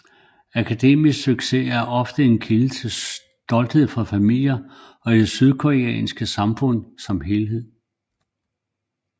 Akademisk succes er ofte en kilde til stolthed for familier og i det sydkoreanske samfund som helhed